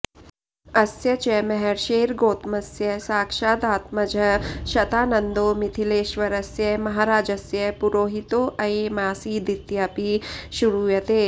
अस्य च महर्षेर्गोतमस्य साक्षादात्मजः शतानन्दो मिथिलेश्वरस्य महाराजस्य पुरोहितोऽयमासीदित्यपि श्रूयते